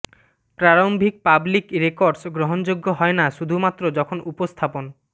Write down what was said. প্রারম্ভিক public records গ্রহণযোগ্য হয় না শুধুমাত্র যখন উপস্থাপন